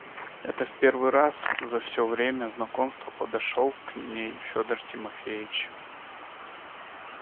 это в первый раз за все время знакомства подошёл к ней федор тимофеич